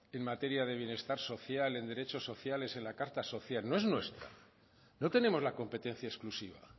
en materia de bienestar social en derecho sociales en la carta social no es nuestra no tenemos la competencia exclusiva